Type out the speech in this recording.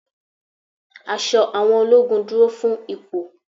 Aṣọ àwọn ológun dúró fún ipò.